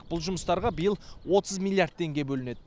бұл жұмыстарға биыл отыз миллиард теңге бөлінеді